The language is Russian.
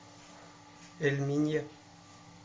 эль минья